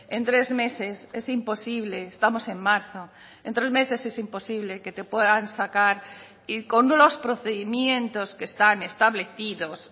en tres meses es imposible estamos en marzo en tres meses es imposible que te puedan sacar y con los procedimientos que están establecidos